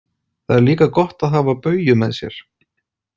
Það er líka gott að hafa Bauju með sér.